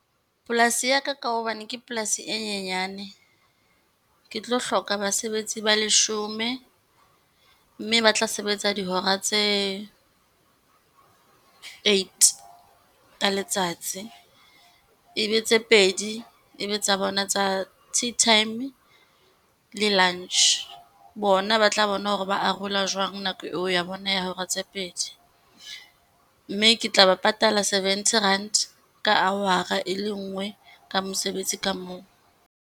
Polasi ya ka, ka hobane ke polasi e nyenyane, ke tlo hloka basebetsi ba leshome mme ba tla sebetsa dihora tse eight ka letsatsi, e be tse pedi, e be tsa bona tsa tea time, le lunch. Bona ba tla bona hore ba arola jwang nako ya bona ya hora tse pedi mme ke tla ba patala seventy rand ka hour-a e le nngwe ka mosebetsi ka mong.